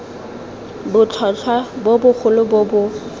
botlhotlhwa bo bogolo bo bo